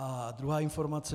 A druhá informace.